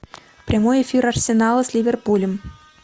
прямой эфир арсенала с ливерпулем